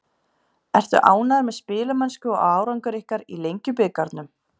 Ertu ánægður með spilamennsku og árangur ykkar í Lengjubikarnum?